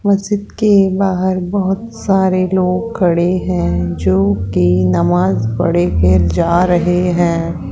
मस्जिद के बाहर बहोत सारे लोग खड़े हैं जोकि नमाज़ पढ़े फिर जा रहे हैं।